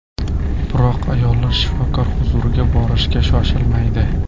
Biroq ayol shifokor huzuriga borishga shoshilmaydi.